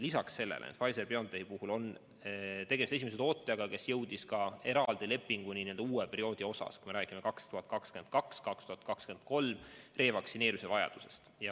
Pfizer/BioNTechi puhul on tegemist esimese tootjaga, kes jõudis eraldi lepinguni uue perioodi osas, kui me räägime aastatel 2022 ja 2023 revaktsineerimise vajadusest.